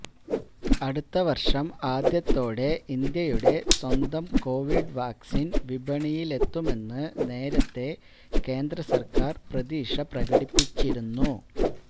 അടുത്ത വർഷം ആദ്യത്തോടെ ഇന്ത്യയുടെ സ്വന്തം കൊവിഡ് വാക്സിൻ വിപണിയിലെത്തുമെന്ന് നേരത്തെ കേന്ദ്ര സർക്കാർ പ്രതീക്ഷ പ്രകടിപ്പിച്ചിരുന്നു